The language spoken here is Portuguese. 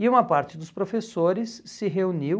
E uma parte dos professores se reuniu